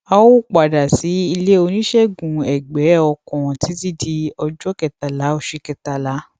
a ò padà sí ilé oníṣègùnẹgbẹ ọkàn títí di ọjọ kẹtàlá oṣù kẹtàlá